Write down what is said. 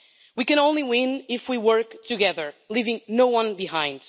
We can only win if we work together, leaving no one behind.